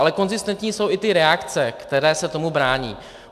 Ale konzistentní jsou i ty reakce, které se tomu brání.